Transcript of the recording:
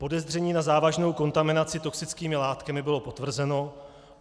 Podezření na závažnou kontaminaci toxickými látkami bylo potvrzeno.